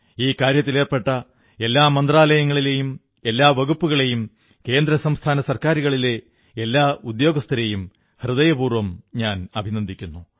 ഈ കാര്യത്തിലേർപ്പെട്ട എല്ലാ മന്ത്രാലയങ്ങളെയും എല്ലാ വകുപ്പുകളെയും കേന്ദ്രസംസ്ഥാന സർക്കാരുകളിലെ എല്ലാ ഉദ്യോഗസ്ഥരെയും ഹൃദയപൂർവ്വം ഞാൻ അഭിനന്ദിക്കുന്നു